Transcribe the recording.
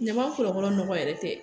Ɲama kɔlɔlɔ nɔgɔ yɛrɛ tɛ